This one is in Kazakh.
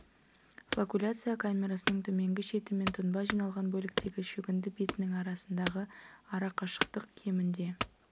флокуляция камерасының төменгі шеті мен тұнба жиналған бөліктегі шөгінді бетінің арасындағы арақашықтық кемінде